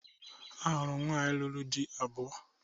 Ahụrụ m nwaanyị lụrụ dị abụọ